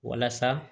Walasa